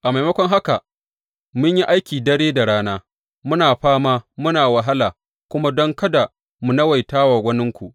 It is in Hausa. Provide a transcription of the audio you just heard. A maimakon haka, mun yi aiki dare da rana, muna fama muna wahala kuma don kada mu nawaita wa waninku.